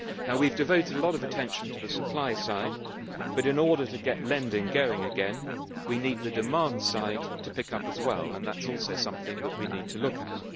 We have devoted a lot of attention to the supply side, but in order to get lending going again, we need the demand side to pick up as well, and that is also something we need to look at.